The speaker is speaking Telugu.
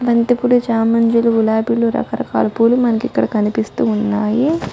బంతిపూలు చామంతులు గులాబీలు రకరకాల పూలు మనకి ఇక్కడ కనిపిస్తూ ఉన్నాయి.